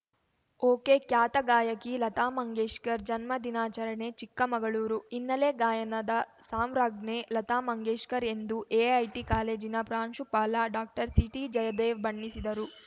ಒಕೆಖ್ಯಾತ ಗಾಯಕಿ ಲತಾ ಮಂಗೇಶ್ಕರ್ ಜನ್ಮದಿನಾಚರಣೆ ಚಿಕ್ಕಮಗಳೂರು ಹಿನ್ನೆಲೆ ಗಾಯನದ ಸಾಮ್ರಾಜ್ಞೆ ಲತಾ ಮಂಗೇಶ್ಕರ್ ಎಂದು ಎಐಟಿ ಕಾಲೇಜಿನ ಪ್ರಾಂಶುಪಾಲ ಡಾಕ್ಟರ್ಸಿಟಿಜಯದೇವ್‌ ಬಣ್ಣಿಸಿದರು